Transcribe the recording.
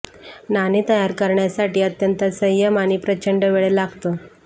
नाणे तयार करण्यासाठी अत्यंत संयम आणि प्रचंड वेळ लागतो